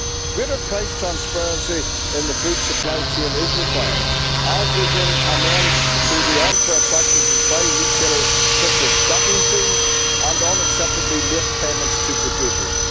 Greater price transparency in the food supply chain is required, as is an end to unfair practices by retailers, such as stocking fees and unacceptably late payments to producers.